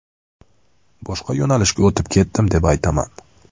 Boshqa yo‘nalishga o‘tib ketdim deb aytaman.